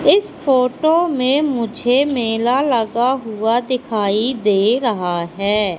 इस फोटो में मुझे मेला लगा हुआ दिखाई दे रहा है।